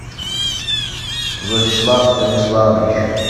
владислав станиславович